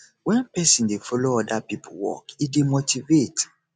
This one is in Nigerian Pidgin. wen person dey follow oda pipo work e dey motivate